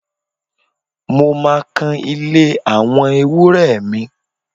Mo máa kan ilé àwọn ewúrẹ́ mi